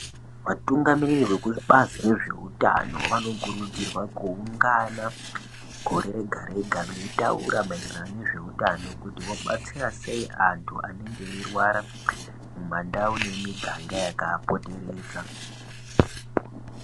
Vatungamiriri veku bazi re zveutano vano kurudzirwa ku ungana gore rega rega vei taura maererano nezve utano kuti vobatsira sei antu anenge eyi rwara mu mandau ne mu miganga yaka a poteredza.